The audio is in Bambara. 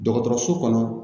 Dɔgɔtɔrɔso kɔnɔ